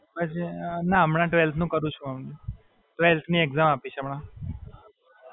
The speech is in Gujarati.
ના હમણાં twelfth નું કરું છું. twelfth ની exam આપી છે હમણાં.